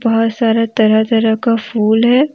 बहुत सारा तरह तरह का फूल है।